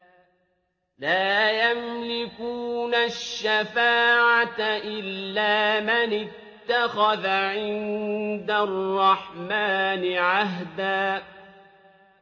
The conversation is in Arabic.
لَّا يَمْلِكُونَ الشَّفَاعَةَ إِلَّا مَنِ اتَّخَذَ عِندَ الرَّحْمَٰنِ عَهْدًا